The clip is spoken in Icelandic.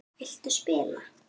Viltu spila?